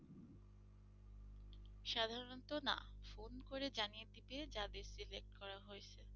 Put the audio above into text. সাধারণত না phone করে জানিয়ে দিবে যাদের select করা হয়েছে।